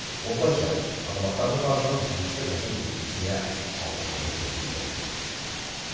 осылайша азаматтардың қарызын ескі жылдың еншісіне қалдырмауды көздейді